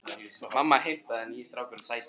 Mamma heimtaði að nýi strákurinn sæti.